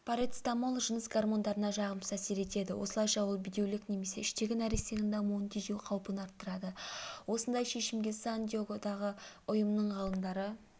парацетамол жыныс гормондарына жағымсыз әсер етеді осылайша ол бедеулік немесе іштегі нәрестенің дамуын тежеу қаупін арттырады осындай шешімге сан-диегодағы ұйымының ғалымдары